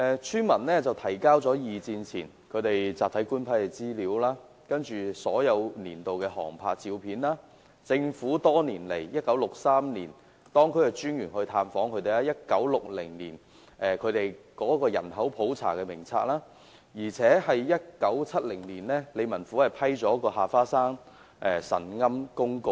村民提交了二戰前集體官批的資料、所有年度的航拍照片、政府於1963年派當區專員探訪該村的紀錄，以及1960年該村的人口普查名冊，而理民府更在1970年批出下花山神龕公告。